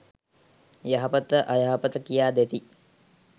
යහපත අයහපත කියා දෙති.